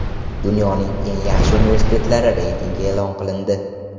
Dunyoning eng yaxshi universitetlari reytingi e’lon qilindi.